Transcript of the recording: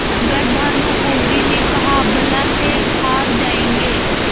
मगर भानकुँवरि ने कहाबला से हार जाऍंगे